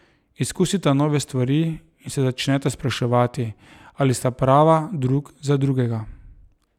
Izkusita nove stvari in se začneta spraševati, ali sta prava drug za drugega.